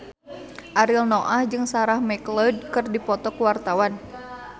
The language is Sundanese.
Ariel Noah jeung Sarah McLeod keur dipoto ku wartawan